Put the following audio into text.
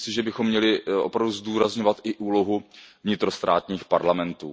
Myslím si, že bychom měli opravdu zdůrazňovat i úlohu vnitrostátních parlamentů.